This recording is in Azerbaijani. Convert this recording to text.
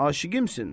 Aşiqimsən?